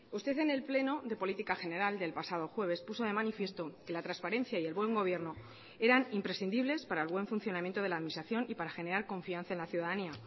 usted en el pleno de política general del pasado jueves puso de manifiesto que la transparencia y el buen gobierno eran imprescindibles para el buen funcionamiento de la administración y para generar confianza en la ciudadanía